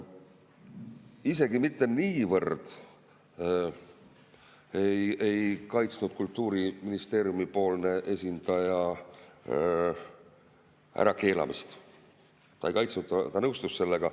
Kultuuriministeeriumi esindaja isegi mitte niivõrd ei kaitsnud ärakeelamist, ta ei kaitsnud, ta nõustus sellega.